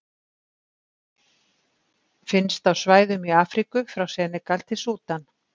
Finnst á svæðum í Afríku frá Senegal til Súdan.